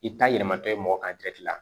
I ta yɛlɛmatɔ ye mɔgɔ kan